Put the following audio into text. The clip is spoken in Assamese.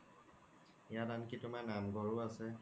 ইয়াত আন্কি তুমাৰ নাম্ঘৰও আছে